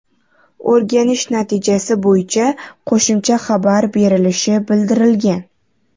O‘rganish natijasi bo‘yicha qo‘shimcha xabar berilishi bildirilgan.